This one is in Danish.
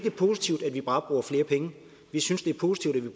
er positivt at vi bare bruger flere penge vi synes det er positivt at